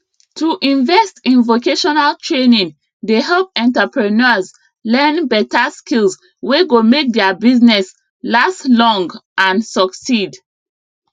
to invest in vocational training dey help entrepreneurs learn better skills wey go make their business last long and succeed